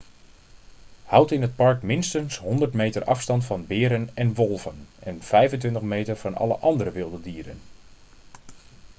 houd in het park minstens 100 meter afstand van beren en wolven en 25 meter van alle andere wilde dieren